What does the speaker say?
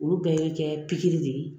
Olu bɛɛ ye kɛ pikiri de ye